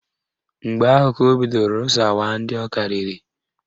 Mgbe ahụ ka o bidoro rụsawa ndị ọ karịrị